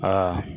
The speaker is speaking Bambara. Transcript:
Aa